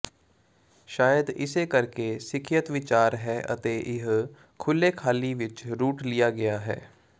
ਸ਼ਾਇਦ ਇਸੇ ਕਰਕੇ ਸਿੱਖਿਅਤ ਵਿਚਾਰ ਹੈ ਅਤੇ ਇਹ ਖੁੱਲ੍ਹੇ ਖਾਲੀ ਵਿੱਚ ਰੂਟ ਲਿਆ ਗਿਆ ਹੈ